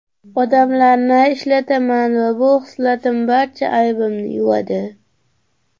Odamlarni ishlataman va bu xislatim barcha aybimni yuvadi.